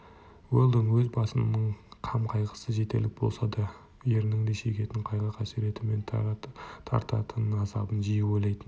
уэлдон өз басының қам-қайғысы жетерлік болса да ерінің де шегетін қайғы-қасіреті мен тартатын азабын жиі ойлайтын